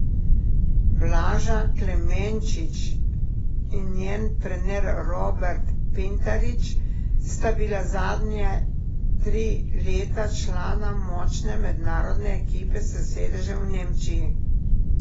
Blaža Klemenčič in njen trener Robert Pintarič sta bila zadnje tri leta člana močne mednarodne ekipe s sedežem v Nemčiji.